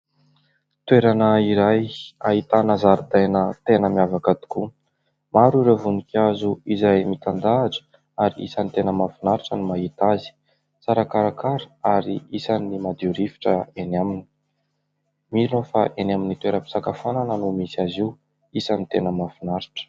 Toerana iray ahitana zaridaina tena miavaka tokoa. Maro ireo voninkazo izay mitandahatra ary isan'ny tena mahafinaritra no mahita azy tsara karakara. Ary isan'ny madio rivotra eny aminy. Mino aho fa eny amin'ny toeram-pisakafoanana no misy azy io, isan'ny tena mahafinaritra.